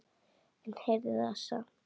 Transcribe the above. En ég heyrði það samt.